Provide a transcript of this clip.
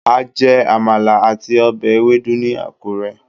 a jè Amala atí obè ewedu ni akure